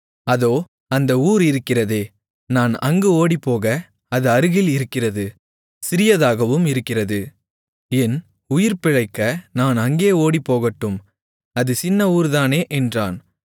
அதோ அந்த ஊர் இருக்கிறதே நான் அங்கு ஓடிப்போக அது அருகில் இருக்கிறது சிறியதாகவும் இருக்கிறது என் உயிர்பிழைக்க நான் அங்கே ஓடிப்போகட்டும் அது சின்ன ஊர்தானே என்றான்